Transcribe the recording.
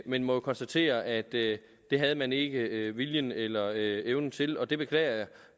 men må jo konstatere at det havde man ikke viljen eller evnen til det beklager